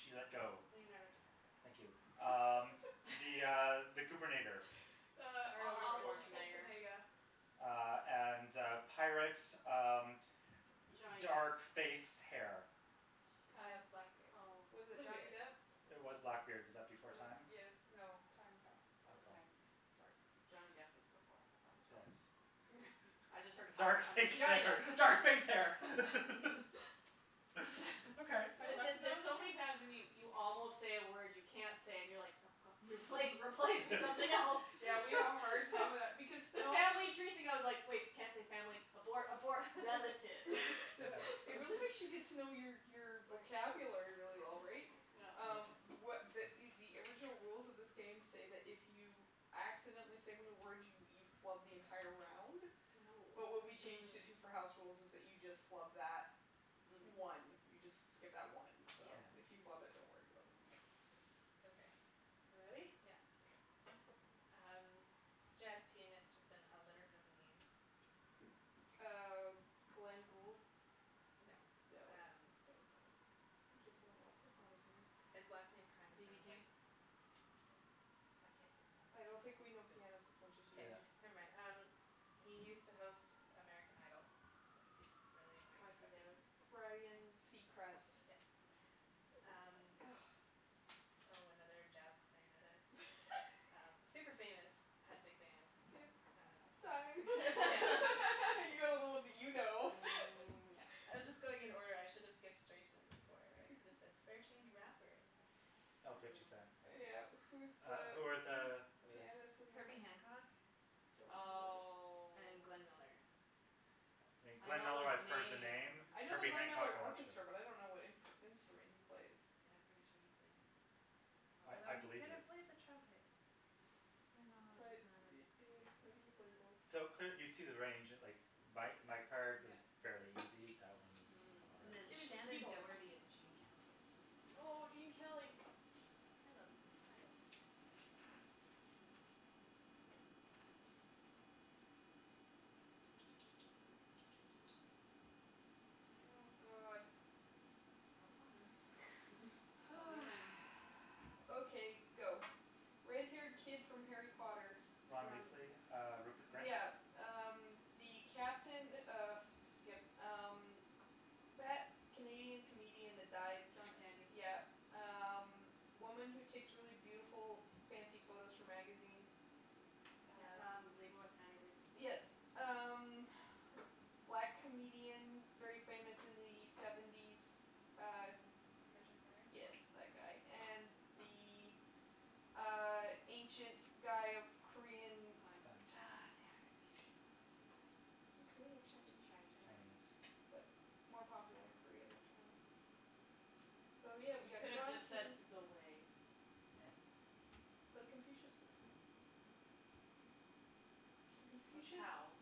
she let go. Leonardo DiCaprio. Thank you. Um the, uh, the goobernator. Uh, Arnold Arnold Arnold Schwarzenegger. Schwarzenegger. Schwarzenegger. Uh, and, uh, pirates, um, d- Johnny dark Depp. face, hair. Uh, Time. blackbeard. Oh. Was it Johnny Bluebeard. Depp? It was Blackbeard. Was that before time? Yes, Ah. no, time past already. Okay. Time, yeah. Sorry. Johnny Depp was before, but that was wrong, Yes. so. I just heard Dark pirate, I'm like, face Johnny Depp. hair, dark face hair The K, the there's so many that's times when you five. you almost say a word you can't say and you're like, no, god, replace, replace with something else. Yeah, we all have a hard time with that because The and also family tree thing, I was like, wait, can't say family, abort, abort. Relatives It really makes you get to know your your Like vocabulary really well, right? Um, what the the original rules of this game say that if you accidentally say one of the words, you you flub the entire round, but what Oh. we changed it to for Mm. house rules is that you just flub that one. Mm. You just s- skip that one, so if you Mm. Yeah. flub it, don't worry about it. Okay. You ready? Yeah. Okay. Um, jazz pianist with an alliterative name. Uh, Glenn Gould? No, No, um. don't know. I'm thinking of someone else. That's not his name. His last name kind of BB sounds like King? pancake. I can't say sounds I like, don't think we know can I? pianists as much as you K. Yeah. do. Never mind. Um, he used to host American Idol. He's really annoying and Carson preppy. Daly. Ryan Seacrest. Yes. Oh. Um. Oh, another jazz clarinetist. Super famous, had a big band. Skip. Time. Um, yeah. You got all the ones that you know. Mm, yep. I was just going in order. I should have skipped straight to number four where I could have said spare change rapper and then you'd get it. Oh, Fifty Cent. Mm. Yeah. Who's Uh, who were the the other? pianist and the cla- Herbie Hancock Don't know who that is. Oh. and Glenn Miller. I Glenn know Miller, those I've heard the names. name. I know the Herbie Glenn Hancock, Miller I'm not sure. Orchestra, but I don't know what imp- instrument he plays. Yeah, I'm pretty sure he played clarinet, I I although he believe could you. have played the trumpet. My knowledge But is not as, yeah. maybe he Yeah. played both. So, cl- you see the range. Like, my my card was fairly Yeah. easy; that one was a Mm. lot And then Give me some Shannon harder. people. Doherty and Gene Kelly are the other Oh, ones. Gene Kelly. I love him. I love him, too. Oh, god. Have fun. Tell me Oh. when. Okay, go. Red haired kid from Harry Potter. Ron Ron Weasley, Weasley. uh, Rupert Grint? Yeah. Um, the captain of skip. Um, fat Canadian comedian that died. John Candy. Yeah. Um, woman who takes really beautiful, f- fancy photos for magazines. Yeah Uh. um, Leibovitz, Annie Leibo- Yes. Um, black comedian, very famous in the seventies, uh, who. Richard Pryor? Yes, that guy. And the, uh, ancient guy of Korean. Time. Time. damn. Confucius. Is he Korean or Chinese? Chinese. Chinese. But Chinese. more popular in Korea than China. So, yeah, we You got could've John just said Can- the way. But Confucius didn't. Or Confucius. Tao.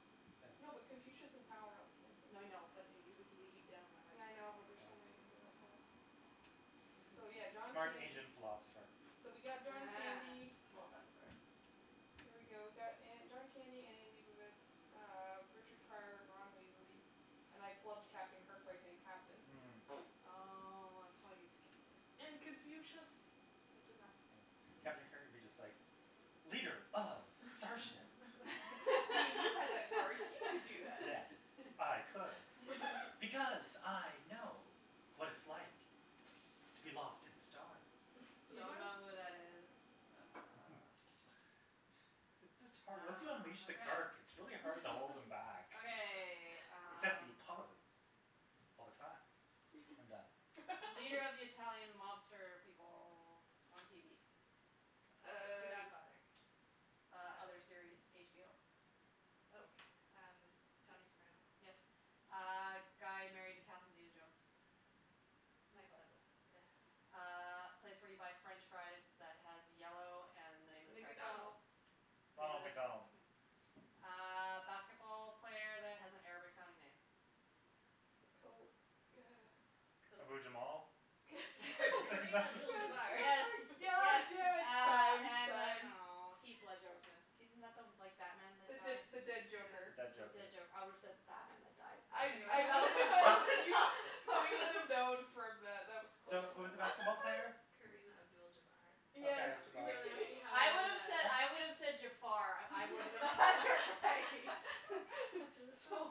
No, but Yes. Confucius and Tao are not the same thing. No, I know, but you would lead down the right Yeah, I know, but there's Yeah. so many things on that path. The path. So, yeah, John Smart Candy. Asian philosopher. So we got John Ah, Candy. well done, sir. There we go. We got uh John Candy, Annie Leibovitz, uh, Richard Pryor and Ron Weasley. And I flubbed Captain Kirk by saying captain. Mm. Oh, Mm. that's why you skipped it. And Confucius I could not Yes, say. Captain Kirk would be just like leader of starship. See, if you had that card, you could do that. Yes, I could because I know what it's like to be lost in the stars. So you Don't m- know who that is. Uh. It's it's just hard Once you Ah, unleash the okay. Kirk, it's really hard to hold him back. Okay, Except the um. pauses all the time. I'm done. Leader of the Italian mobster people on TV. Uh, the Uh. Godfather. Uh, Oh. other series, HBO. God. Oh, um, I don't Tony Soprano. Yes. Uh, guy married to Catherine zeta-jones. Michael Douglas. Yes. Uh, place where you buy French fries that has yellow and the name of the character. McDonald's. McDonald's. Name of Ronald the McDonald. yeah Uh basketball player that has an Arabic sounding name. Kobe, uh Ke- Abu Jamal? K- Karim Abdul Jabbar. Yes, yes. yeah, Uh, time, and then, time. oh, Heath Ledger, I was gonna he isn't like the Batman that The the died? the dead The joker. Yeah. dead Oh, joker. dead joker. I would have said the Batman that died, but I anyways, I that would have been close enough We would have known from that. That was close So, who was enough. the I'm basketball player? surprised Kareem Abdul Jabbar. Yes Okay, Jabar. Don't ask Yeah. me how I I know would have that. said, I would have said Jafar. I wouldn't have bothered by It was so so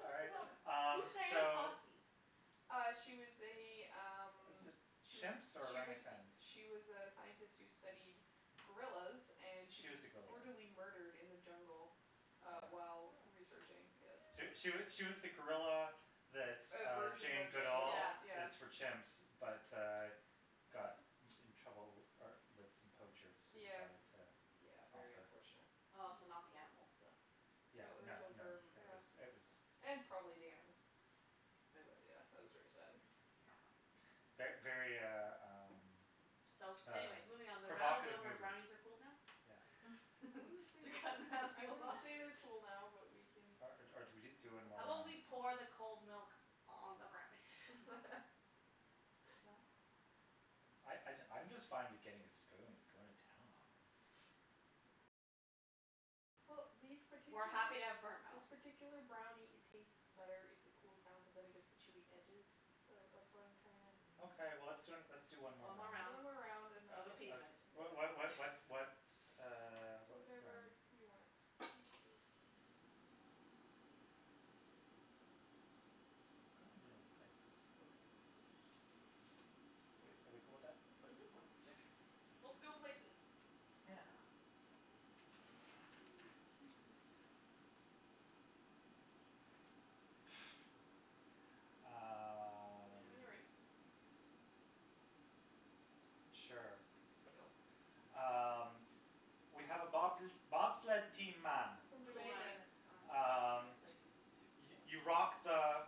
All right, um, Who's Dian so. Fossey? Uh, she was a, um, Was it she was, chimps or she was, orangutans? she was a scientist who studied gorillas and she She was was the gorilla one. brutally murdered in the jungle uh while Yeah. researching, Oh. yes. She she she was the gorilla that A uh version Jane of Jane Goodall Duvall, Yeah. yeah. is for chimps but, uh, got in trouble uh with some poachers who Yeah. decided to Yeah, off very her. unfortunate. Oh, so Mm. not the animals, the No, Yeah, they no, killed no, her, Mm, it yeah. was, it was. okay. And probably the animals. But Boo. wa- yeah, that was very sad. Not fun. Yeah. Ver- very, uh, um, So, um anyways, moving on. The round is provocative over and movie. brownies are cooled now? Yeah. I wouldn't say To they're, cut I Natalie wouldn't off say they're cool now, but we can. Or or do we do one How more about round? we pour the cold milk on the brownies? No? I No? I I'm just fine with getting a spoon and going to town on them. Well, these We're particular, happy to have burnt this mouth. particular brownie, it tastes better if it cools down cuz then it gets the chewy edges, so that's why I'm trying to. Okay, well, let's d- let's do one more One more round One round more Mm. round and then, of uh uh of appeasement. What what what yes. what what, uh, what one? Whatever you want, you choose. Kinda wanna do places. Okay. Places are fun. Are we are we cool with that, That's Mhm, places, fine, places? sure. whatever. Whatever. Let's go places. Yeah. Excuse me. Let me know Um. when you're ready. Sure. Go. Um, we have a bob- bobsled team, man. From Cool Jamaica. runnings. Jamaica. Oh, right, Um, places. you you Fail. you rock the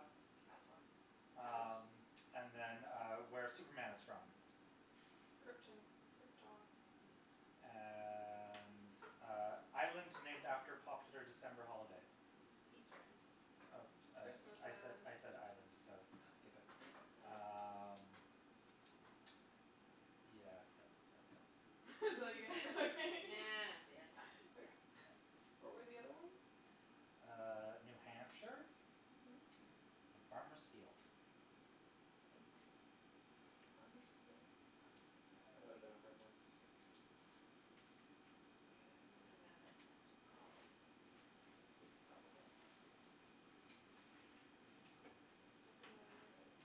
Kasbah. House. Um, and then, uh, where Superman is from. Krypton. Krypton. Mm. And, uh, island named after popular December holiday. Easter Island. Eas- Uh, uh, Christmas I Island. said island, so skip Oh. it. Mm. Oh. Um, yeah, that's that's all I got. That's all you get. Okay. empty and time. Yeah. Okay. Yeah. What were the other ones? Uh, New Hampshire Mhm. and Farmer's Field. Hmm. Farmer's Field? Oh. That would have been a hard one. Yeah. You got it? You would have ended up saying like corn field or something. Probably. Mm. Let me know when you're ready.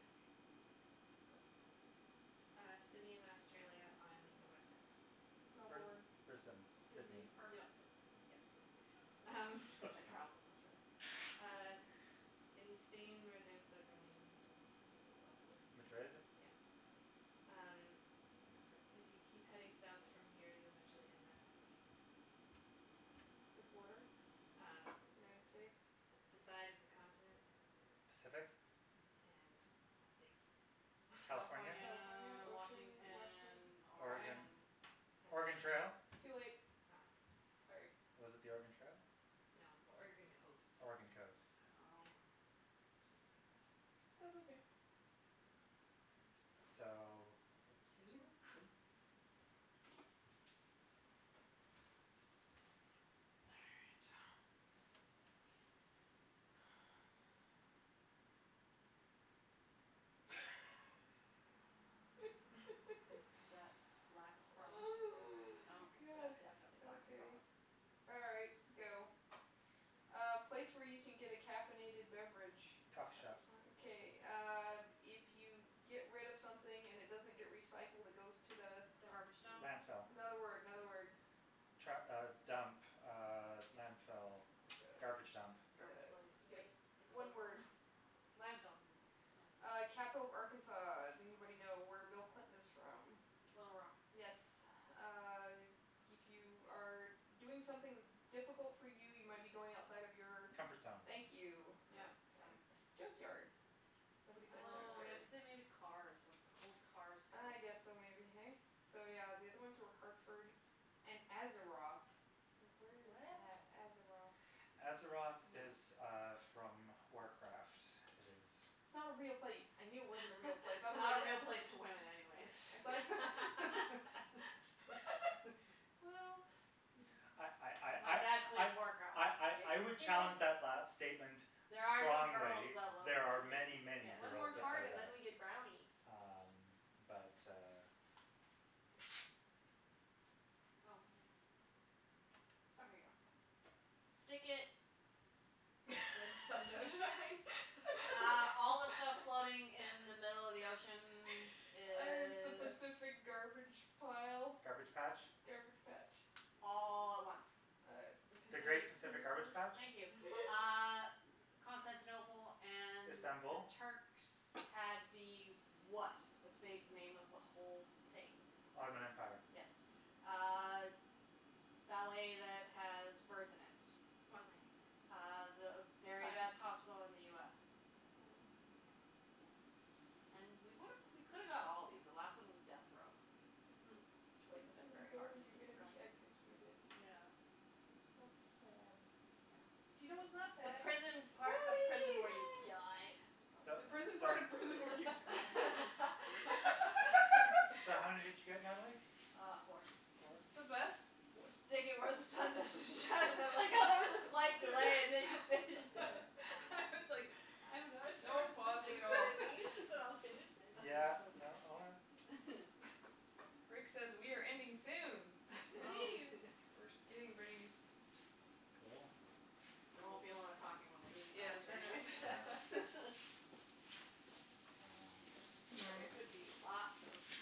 Okay. Go. Uh, city in Australia on the West coast. Br- Melbourne, Brisbane, Sydney. Sydney. Nope, Perth. yeah. Um, I travelled in Australia, so. uh, in Spain where there's the running of the Madrid? bulls. Yeah. Um, if you keep heading South from here, you eventually end up on the The border? Um, United States? the side of the continent. Pacific? And the state. California? California, California, ocean, Washington? Washington, Time. Oregon? Oregon. Oregon And then. Trail? Too late. Oh. Sorry. Was it the Oregon Trail? No, Oregon coast. Oregon coast. Damn, I Oh. Oh. should have skipped that one. That's okay. So, what, Two. Two? two? All right. Is that lack of promise? Oh, Oh, yeah, god. definitely lack of Okay. promise. All right, go. A place where you can get a caffeinated beverage. Coffee Coffee shop. shop. Okay, uh, if you get rid of something and it doesn't get recycled, it goes to the Dump. Garbage dump. Landfill. Another word, another word. Tru- uh, dump, uh, landfill, garbage dump. Garbage place. Skip. Waste One disposal. word. Landfill. No. Uh, capital of Arkansas. Do anybody know where Bill Clinton is from? Little Rock. Yes. Uh, if you are doing something that's difficult for you, you might be going outside of your Comfort zone. Thank you. Yep, Uh time. time. Junkyard. Nobody said Oh, you have junkyard. to say Oh. maybe cars, where old cars go. Ah, yes, so maybe, hey? So, yeah, the other ones Hmm. were Hartford and Azeroth. Like, where is What? that? Azeroth? Azeroth Mm. is, uh, from Warcraft. It is. It's not a real place. I knew it wasn't a real place. I was Not like a real place to women, anyways I'm glad Well, I I yeah. My I dad plays I I Warcraft. I I Hey, I would hey, challenge that last Nattie. statement There are some girls strongly. that love There are the many, game, many yes, One girls more that card play and then that. we yes. get brownies. Um, but, uh, yeah. Oh, ma- Okay, Okay, go. go. Stick it. Where the sun don't shine? Uh all the stuff floating in the middle of the ocean Is the is. Pacific That's. garbage pile? Garbage patch. Garbage patch? All at once. Uh. The The great Pacific. Pacific garbage patch. Thank you. Uh, Constantinople and the Istanbul? Turks had the what, the big name of the whole thing? Ottoman Empire. Yes. Uh, ballet that has birds in it. Swan Lake. Uh, the very Time. best hospital in the US. Time. Mayo Clinic. Yeah. And we would've, we could've got all of these. The last one was death row, Hmm. which The wouldn't place have been you very go hard when to you're gonna describe. be executed. Yeah. That's sad. Yeah. But you know what's not The sad? prison part of prison Brownies. where you die. Yay! So, The prison part so. of prison when you die. So how many did you get, Natalie? Uh, four. Four? The best. Was stick it where the sun doesn't shine. I like how there was a slight delay and then you finished Yeah. it. I was like, I'm not sure No if this pausing at is what all. it means, but I'll finish it. That was Yeah, funny. no, all right. Rick says we are ending soon. Well, Woohoo. we're just getting rid of these. Cool. There won't be a lot of talking when we're eating Yes, brownies, we're not anyways. Yeah.